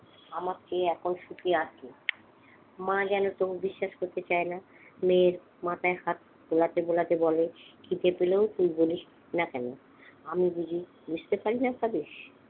আমাকে এখন সুখে রাখে মা যেন তবু বিশ্বাস করতে চায় না, মেয়ের মাথায় হাত বোলাতে বোলাতে বলে খিদে পেলে তুই বলিস না কেন আমি বুঝি বুঝতে পারি না ভাবিস?